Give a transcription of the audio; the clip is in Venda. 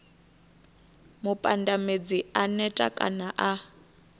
mupandamedzi a neta kana a